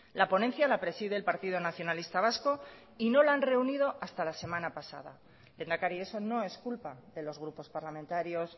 la ponencia la preside el partido nacionalista vasco y no la han reunido hasta la semana pasada lehendakari eso no es culpa de los grupos parlamentarios